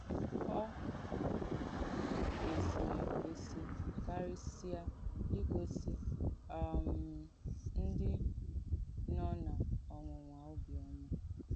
Ọ̀ kwèsìrì èkwèsì kàrìsìà ìgósì um ndí nò n’ọ̀nwụ̀nwà òbìọ́mà.